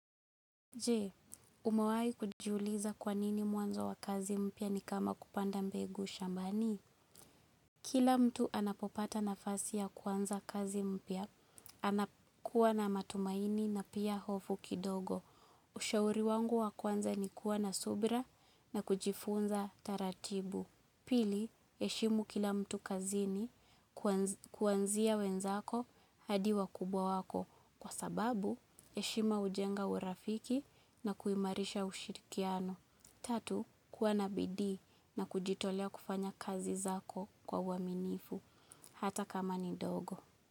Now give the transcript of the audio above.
Jee, umewai kujiuliza kwa nini mwanzo wa kazi mpya ni kama kupanda mbegu shambani. Kila mtu anapopata nafasi ya kwanza kazi mpya, anakuwa na matumaini na pia hofu kidogo. Ushauri wangu wa kwanza ni kuwa na subra na kujifunza taratibu. Pili, heshimu kila mtu kazini kuanzia wenzako hadi wakubwa wako kwa sababu, heshima hujenga urafiki na kuimarisha ushirikiano. Tatu, kuwa na bidii na kujitolea kufanya kazi zako kwa uaminifu, hata kama ni ndogo.